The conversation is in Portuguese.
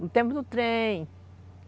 No tempo do trem.